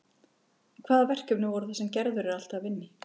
En hvaða verkefni voru það sem Gerður er alltaf að vinna í